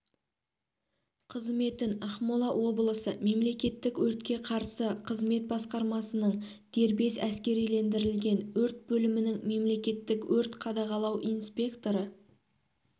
қызметін ақмола облысы мемлекеттік өртке қарсы қызмет басқармасының дербес әскерилендірілген өрт бөлімінің мемлекеттік өрт қадағалау инспекторы